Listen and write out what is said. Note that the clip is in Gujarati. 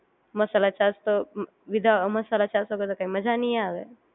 મસાલા છાશ તો વિધા મસાલા છાશ વગર કઈ મજા નહિ આવે